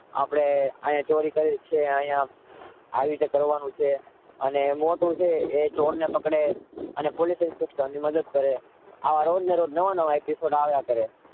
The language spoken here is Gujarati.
આપણે અહિયાં ચોરી કરી છે અહિયાં આવી રીતે કરવાનું છે અને મોટું છે એ ચોરને પકડે અને પોલિસ ઇન્સ્પેક્ટરની મદદ ક્યારે આવા રોજનેરોજ નવા નવા એપિસોડ આવ્યા કરે.